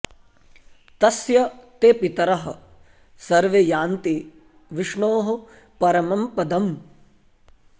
तस्य ते पितरः सर्वे यान्ति विष्णोः परं पदम्